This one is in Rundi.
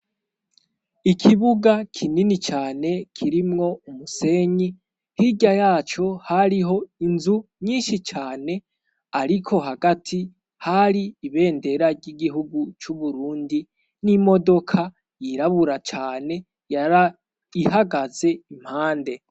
Ikibuga kinini cane kirimwo umusenyi, hirya yaco hariho inzu nyinshi cane, ariko hagati hari ibendera ry'igihugu c'u Burundi n'imodoka yirabura cane yari ihagaze impande.